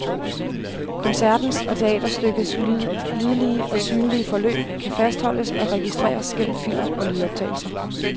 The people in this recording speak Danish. Koncertens og teaterstykkets lydlige og synlige forløb kan fastholdes og registreres gennem film- og lydoptagelser.